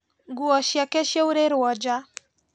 Nguo ciake ciaurĩrwo nja